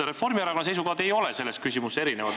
Reformierakonna seisukohad ei ole selles asjas erinevad.